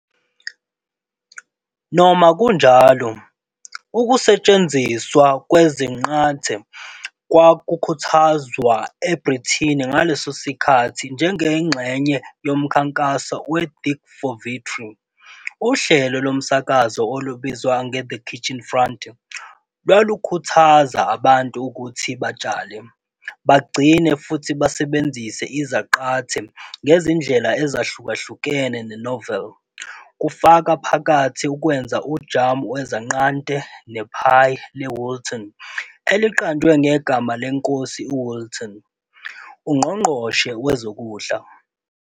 Noma kunjalo, ukusetshenziswa kwezinqathe kwakukhuthazwa eBrithani ngaleso sikhathi njengengxenye yomkhankaso we- Dig for Victory. Uhlelo lomsakazo olubizwa "ngeThe Kitchen Front" lwalukhuthaza abantu ukuthi batshale, bagcine futhi basebenzise izaqathe ngezindlela ezahlukahlukene zenoveli, kufaka phakathi ukwenza ujamu wesanqante nephayi leWoolton, eliqanjwe ngegama leNkosi uWoolton, uNgqongqoshe Wezokudla.